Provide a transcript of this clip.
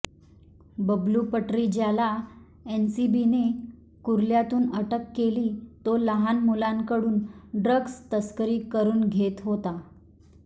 बबलू पट्री ज्याला एनसीबीने कुर्ल्यातून अटक केली तो लहान मुलांकडून ड्रग्ज तस्करी करून घेत होता